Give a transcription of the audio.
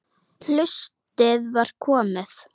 Haustið var komið.